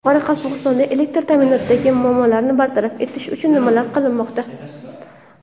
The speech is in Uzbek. Qoraqalpog‘istonda elektr ta’minotidagi muammolarni bartaraf etish uchun nimalar qilinmoqda?